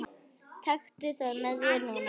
Taktu það með þér núna!